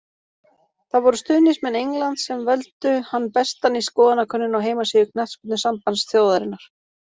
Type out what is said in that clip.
Það voru stuðningsmenn Englands sem völdu hann bestan í skoðanakönnun á heimasíðu knattspyrnusambands þjóðarinnar.